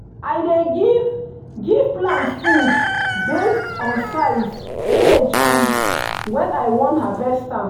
i dey give give plant food based on size age and when i wan harvest am.